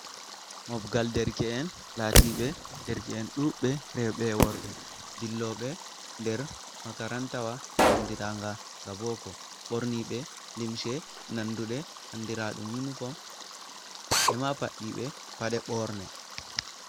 Moɓgal derke’en lati ɓe derke’en ɗuɓbe rewɓe worɓe dilloɓe nder makaranta wa, andiranga ga boko ɓorni ɓe limshe nandu ɗe andira ɗum uinifom e ma paɗɗi ɓe paɗe ɓorne.